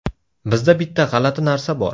Bizda bitta g‘alati narsa bor.